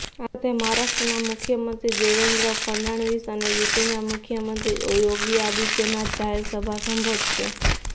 આ સાથે મહારાષ્ટ્રના મુખ્યમંત્રી દેવેન્દ્ર ફડણવીસ અને યુપીના મુખ્યમંત્રી યોગી આદિત્યનાથ જાહેર સભા સંબોધશે